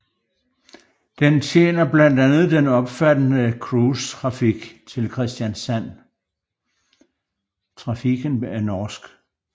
Den tjener blandt andet den omfattende cruise trafiken til Kristiansand